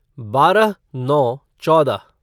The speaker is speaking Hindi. बारह नौ चौदह